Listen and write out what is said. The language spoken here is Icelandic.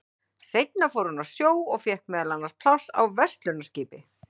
seinna fór hann á sjó og fékk meðal annars pláss á verslunarskipi